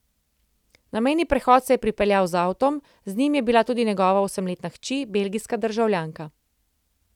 Na mejni prehod se je pripeljal z avtom, z njim je bila tudi njegova osemletna hči, belgijska državljanka.